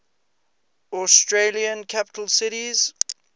australian capital cities